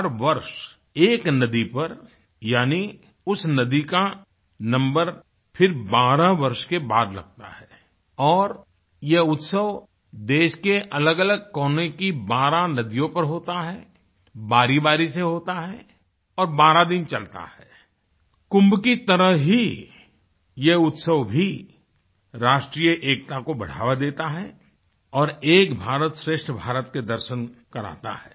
हर वर्ष एक नदी पर यानि उस नदी का नंबर फिर बारह वर्ष के बाद लगता है और यह उत्सव देश के अलगअलग कोने की बारह नदियों पर होता है बारी बारी से होता है और बारह दिन चलता है कुम्भ की तरह ही ये उत्सव भी राष्ट्रीय एकता को बढ़ावा देता है और एक भारतश्रेष्ठ भारत के दर्शन कराता है